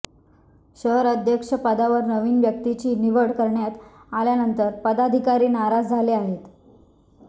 शहर अध्यक्ष पदावर नवीन व्यक्तीची निवड करण्यात आल्यानंतर पदाधिकारी नाराज झाले आहेत